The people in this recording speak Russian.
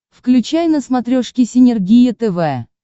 включай на смотрешке синергия тв